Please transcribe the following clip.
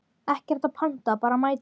Ekkert að panta, bara mæta!